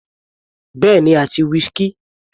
Bẹ́ẹ̀ni àti whisky.